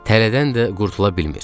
Tələdən də qurtula bilmir.